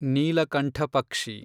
ನೀಲಕಂಠ ಪಕ್ಷಿ